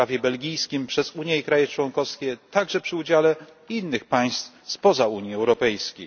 na prawie belgijskim przez Unię i kraje członkowskie, także przy udziale innych państw spoza Unii Europejskiej.